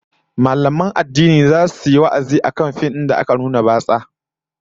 Mallaman addini zasu yi wa'azi akan fim din da aka nuna batsa